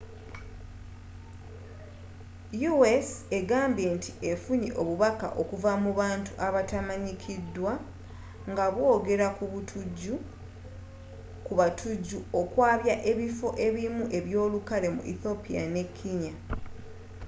u.s egambye nti effunye obubaka okuva mu bantu abatamanyikiddwa nga bwogera ku batujju okwabya ebiffo ebimu ebyolukale” mu ethiopia ne kenya